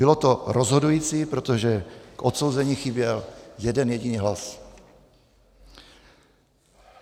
Bylo to rozhodující, protože k odsouzení chyběl jeden jediný hlas.